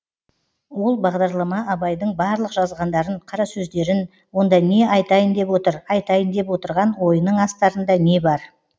ол бағдарлама абайдың барлық жазғандарын қарасөздерін онда не айтайын деп отыр айтайын деп отырған ойының астарында не бар